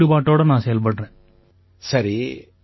இதில முழு ஈடுபாட்டோட நான் செயல்படுறேன்